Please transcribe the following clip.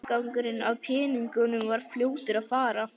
Afgangurinn af peningunum var fljótur að fara.